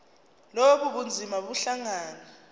lobu bunzima buhlangane